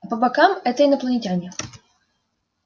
а по бокам это инопланетяне